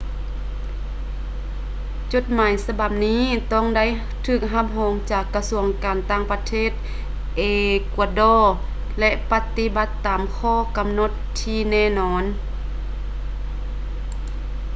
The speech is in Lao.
ຈົດໝາຍສະບັບນີ້ຕ້ອງໄດ້ຖືກຮັບຮອງຈາກກະຊວງການຕ່າງປະເທດເອກວາດໍ ແລະ ປະຕິບັດຕາມຂໍ້ກຳນົດທີ່ແນ່ນອນ